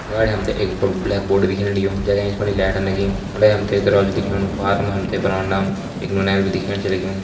अगाड़ी हम त एक बड़ू ब्लैक बोर्ड छ दिखेण लग्युं जैका एंच फणि लाइट छ लगीं। उंडे हम त दरवाजा दिखेणु पार मा हम त बरांडाम एक नौनियाल भी दिखेण छ लग्युं।